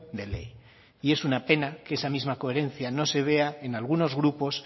de ley y es una pena que esa misma coherencia no se vea en algunos grupos